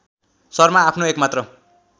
शर्मा आफ्नो एकमात्र